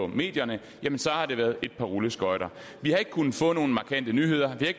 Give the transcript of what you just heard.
medierne i et par rulleskøjter vi har ikke kunnet få nogen markante nyheder vi